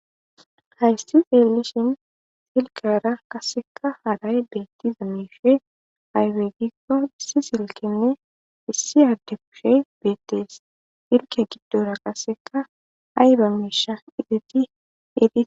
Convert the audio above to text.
Haysti seelusin silkara kasseka haray beetti za mishe haybegikko hissi silkenne issi adde kushe beettees irke giddora qasseka ayba meesha ideti et.